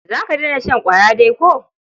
Za ka daina shan ƙwaya dai ko?